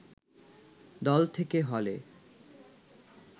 দল থেকে হলে